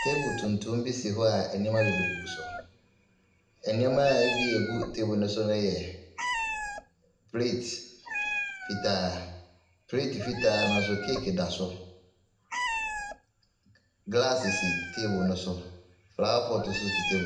Table tuntum bi si hɔ anneɛma bebree gu so, nneɛma a ɛbi ɛgu table ne so no yɛ plate fitaa. Plate fitaa no nso cake da so. Glass si table no so, flower pot nso si table .